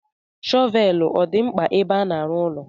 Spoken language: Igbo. Shọvel ọ dị mkpa ebe a n'arụ ụlọ?